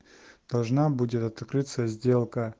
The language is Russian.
должна будет открыться сделка